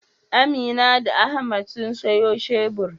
Amina da Ahmad sun sayo shebur.